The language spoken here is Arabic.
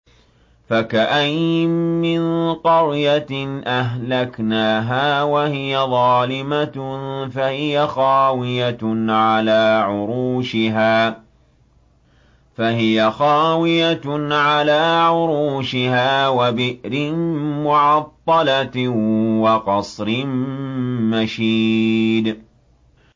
فَكَأَيِّن مِّن قَرْيَةٍ أَهْلَكْنَاهَا وَهِيَ ظَالِمَةٌ فَهِيَ خَاوِيَةٌ عَلَىٰ عُرُوشِهَا وَبِئْرٍ مُّعَطَّلَةٍ وَقَصْرٍ مَّشِيدٍ